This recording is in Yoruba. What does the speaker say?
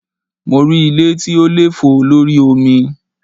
Mo rí ilé tí ó lè fò lórí omi.